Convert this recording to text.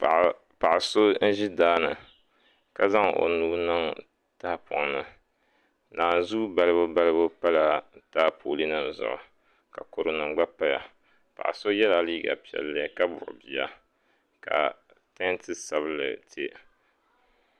Paɣa so n ʒi daani ka zaŋ o nuu niŋ tahapoŋ ni naanzuu balibu balibu pala taapooli nim zuɣu ka kodu nim gba paya paɣa so yɛla liiga piɛlli ka buɣi bia ka tanti sabinli tiya